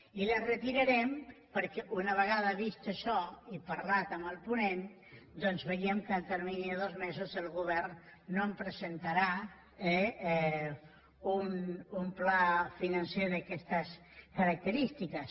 i les retirarem perquè una vegada vist això i parlat amb el ponent doncs veiem que en el termini de dos mesos el govern no presentarà un pla financer d’aquestes característiques